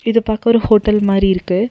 இது பாக்க ஒரு ஹோட்டல் மாரி இருக்கு.